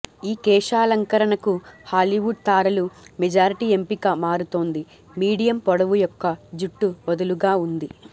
ఈ కేశాలంకరణకు హాలీవుడ్ తారలు మెజారిటీ ఎంపిక మారుతోంది మీడియం పొడవు యొక్క జుట్టు వదులుగా ఉంది